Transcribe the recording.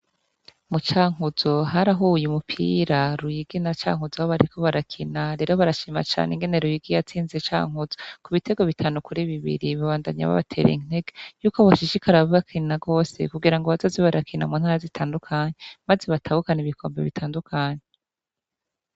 Mu Cankuzo harahuye umupira Ruyigi na Cankuzo aho bariko barakina, rero barashima cane ingene Ruyigi yatsinze Cankuzo ku bitego bitanu kuri bibiri, babandanya babatera intege yuko boshishikara bakina gose kugira ngo bazoze barakina mu ntara zitandukanye maze batahukane ibikombe bitandukanye.